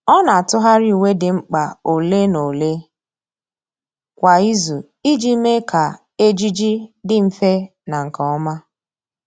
Ọ́ nà-átụ́gharị uwe dị mkpa ole na ole kwa ìzù iji mee kà ejiji dị mfe na nke ọma.